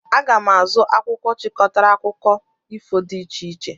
Aga m azụ akwụkwọ chịkọtara akụkọ ifo dị iche iche.